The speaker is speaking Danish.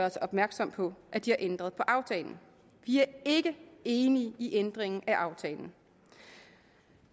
os opmærksom på at de har ændret på aftalen vi er ikke enig i ændringen af aftalen